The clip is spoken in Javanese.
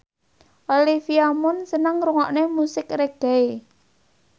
Olivia Munn seneng ngrungokne musik reggae